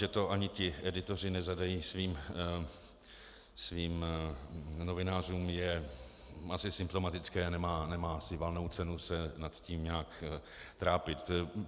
Že to ani ti editoři nezadají svým novinářům, je asi symptomatické, nemá asi valnou cenu se nad tím nějak trápit.